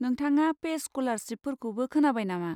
नोंथाङा पेस स्क'लारशिपफोरखौ खोनाबाय नामा?